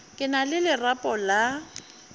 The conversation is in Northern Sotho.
ke na le lerapo la